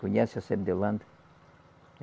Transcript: Conhece a sebo de holanda?